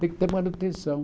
Tem que ter manutenção.